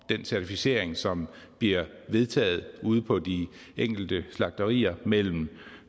den certificering som bliver vedtaget ude på de enkelte slagterier mellem